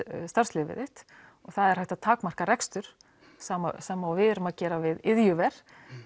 starfsleyfið þitt og það er hægt að takmarka rekstur sem við erum að gera við iðjuver